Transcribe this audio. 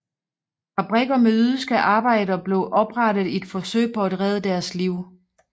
Fabrikker med jødiske arbejdere blev oprettet i et forsøg på at redde deres liv